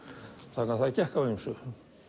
þannig að það gekk á ýmsu